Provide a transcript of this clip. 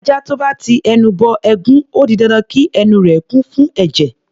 Ajá tó bá ti ẹnu bọ ẹ̀gún, ó di dandan kí ẹnu rẹ̀ kún fún ẹ̀jẹ̀.